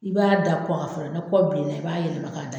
I b'a da a kɔ kan fɔlɔ, ni kɔ bilenna, i b'a yɛlɛma.